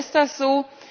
Warum ist das so?